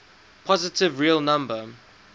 positive real number